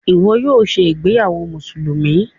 Ìwo yóò ṣe ìgbéyàwó Mùsùlùmí.